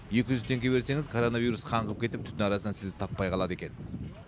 екі жүз теңге берсеңіз коронавирус қаңғып кетіп түтін арасынан сізді таппай қалады екен